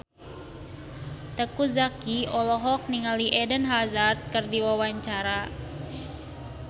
Teuku Zacky olohok ningali Eden Hazard keur diwawancara